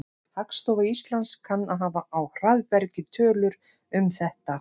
Hagstofa Íslands kann að hafa á hraðbergi tölur um þetta.